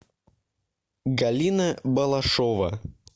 галина балашова